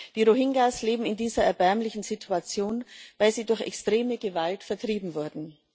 Die Rohingya leben in dieser erbärmlichen Situation, weil sie durch extreme Gewalt vertrieben wurden.